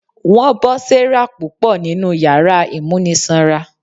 Wọn bọ Sarah púpọ ninú yàrá ìmúnisanra.